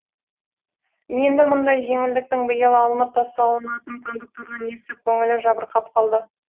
енді мұндай жеңілдіктің биыл алынып тасталынатын кондуктордан естіп көңілі жабырқап қалды